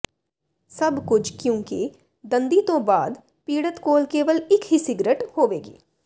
ਸਭ ਕੁਝ ਕਿਉਂਕਿ ਦੰਦੀ ਤੋਂ ਬਾਅਦ ਪੀੜਤ ਕੋਲ ਕੇਵਲ ਇੱਕ ਹੀ ਸਿਗਰਟ ਹੋਵੇਗੀ